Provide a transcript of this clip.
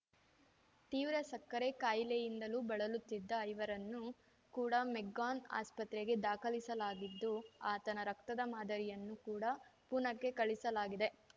ತೀವ್ರ ಸಕ್ಕರೆ ಕಾಯಿಲೆಯಿಂದಲೂ ಬಳಲುತ್ತಿದ್ದ ಇವರನ್ನು ಕೂಡ ಮೆಗ್ಗಾನ್‌ ಆಸ್ಪತ್ರೆಗೆ ದಾಖಲಿಸಲಾಗಿದ್ದು ಆತನ ರಕ್ತದ ಮಾದರಿಯನ್ನು ಕೂಡ ಪೂನಕ್ಕೆ ಕಳಿಸಲಾಗಿದೆ